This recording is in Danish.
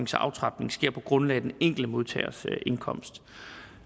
så aftrapning sker på grundlag af den enkelte modtagers indkomst